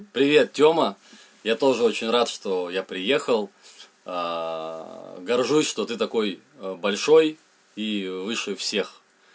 привет тёма я тоже очень рад что я приехал горжусь что ты такой большой и выше всех